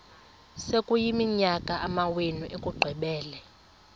sekuyiminyaka amawenu ekuqumbele